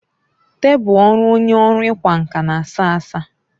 Tebụl ọrụ onye ọrụ ịkwa nkà na a sá asá.